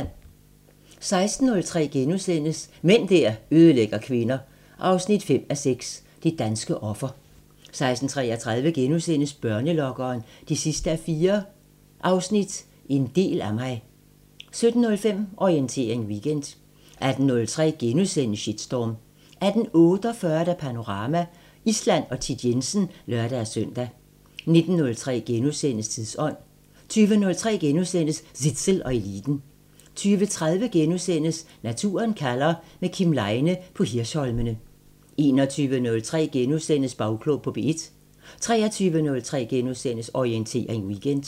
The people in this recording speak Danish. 16:03: Mænd der ødelægger kvinder 5:6 – Det danske offer * 16:33: Børnelokkeren 4:4 – En del af mig * 17:05: Orientering Weekend 18:03: Shitstorm * 18:48: Panorama: Island og Thit Jensen (lør-søn) 19:03: Tidsånd * 20:03: Zissel og Eliten * 20:30: Naturen kalder – med Kim Leine på Hirsholmene * 21:03: Bagklog på P1 * 23:03: Orientering Weekend *